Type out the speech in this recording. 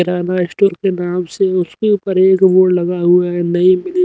किराना store के नाम से उसके ऊपर बोर्ड लगा हुआ है। नई--